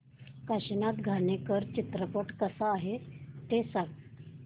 काशीनाथ घाणेकर चित्रपट कसा आहे ते सांग